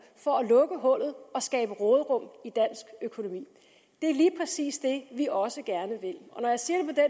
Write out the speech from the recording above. for at lukke hullet og skabe råderum i dansk økonomi det er lige præcis det vi også gerne vil når jeg siger